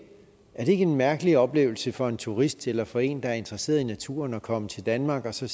er en mærkelig oplevelse for en turist eller for en der er interesseret i naturen at komme til danmark og sige